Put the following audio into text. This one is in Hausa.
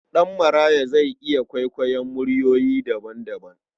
Ɗanmaraya zai iya kwaikwayon muryoyi daban-daban.